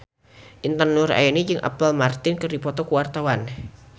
Intan Nuraini jeung Apple Martin keur dipoto ku wartawan